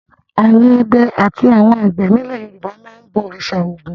Àwọn ọdẹ àti àwọn àgbẹ̀ nílẹ̀ Yorùbá máa ń bọ òrìṣà Ògún.